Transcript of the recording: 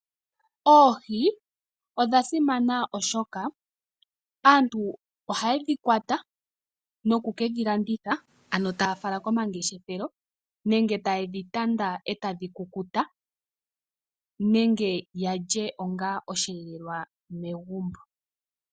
Oohi odha simana, oshoka aantu oha yedhi kwata noku ke dhi landitha, ano taya fala komangeshefelo nenge taye dhi tanda e tadhi kukuta, nenge ya lye onga osheelelwa megumbo.